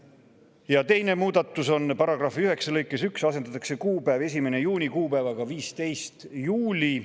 Teine muudatus on see: " paragrahvi 9 lõikes 1 asendatakse kuupäev "1. juuni" kuupäevaga "15. juuli"".